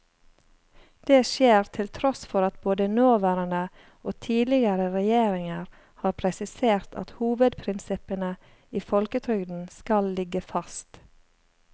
Det skjer til tross for at både nåværende og tidligere regjeringer har presisert at hovedprinsippene i folketrygden skal ligge fast.